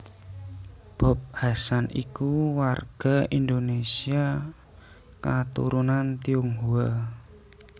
Bob Hasan iku warga Indonèsia katurunan Tionghoa